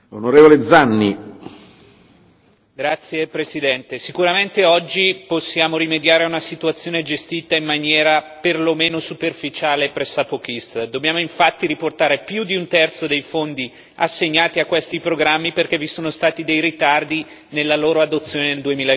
Signor Presidente, onorevoli colleghi, sicuramente oggi possiamo rimediare a una situazione gestita in maniera perlomeno superficiale e pressapochista e dobbiamo infatti riportare più di un terzo dei fondi assegnati a questi programmi, perché vi sono stati dei ritardi nella loro adozione nel